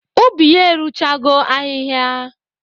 Ubi ya eruchego ahịhịa.